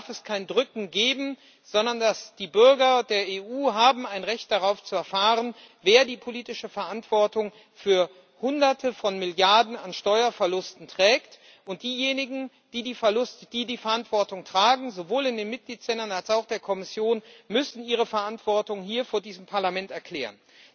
Hier darf es kein Drücken geben, sondern die Bürger der EU haben ein Recht darauf zu erfahren, wer die politische Verantwortung für Hunderte von Milliarden an Steuerverlusten trägt. Diejenigen, die die Verantwortung tragen, sowohl in den Mitgliedstaaten als auch in der Kommission, müssen ihre Verantwortung hier vor diesem Parlament erklären.